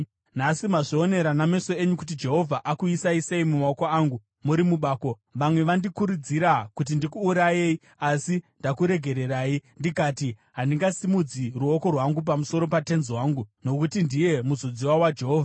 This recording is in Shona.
Nhasi mazvionera nameso enyu kuti Jehovha akuisai sei mumaoko angu muri mubako. Vamwe vandikurudzira kuti ndikuurayei, asi ndakuregererai, ndikati, ‘Handingasimudzi ruoko rwangu pamusoro patenzi wangu, nokuti ndiye muzodziwa waJehovha.’